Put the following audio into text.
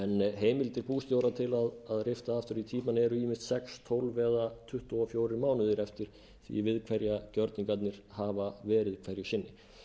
heimildir bústjóra til að rifta aftur í tímann eru ýmist sex tólf eða tuttugu og fjórir mánuðir eftir því við hverja gjörningarnir hafa verið hverju sinni